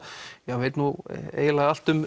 veit nú eiginlega allt